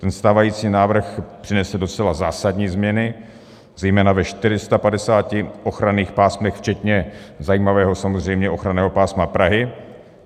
Ten stávající návrh přinese docela zásadní změny, zejména ve 450 ochranných pásmech včetně zajímavého samozřejmě ochranného pásma Prahy.